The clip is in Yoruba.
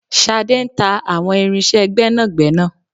Ṣadé ń ta àwọn irinṣẹ́ gbẹ́nàgbẹ́nà.